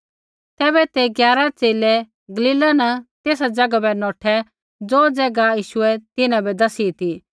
तैबै ते ग्यारा च़ेले गलीला न तेसा ज़ैगा बै नौठै ज़ो ज़ैगा यीशुऐ तिन्हां बै दसी ती